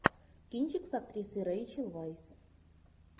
кинчик с актрисой рэйчел вайс